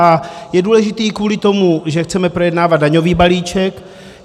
A je důležitý i kvůli tomu, že chceme projednávat daňový balíček.